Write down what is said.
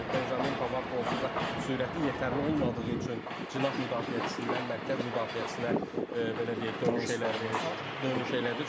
Benjamin Pavard da onsuz da sürəti yetərli olmadığı üçün cinah müdafiəçisindən mərkəz müdafiəçisinə belə deyək dönüş elədi, dönüş elədi.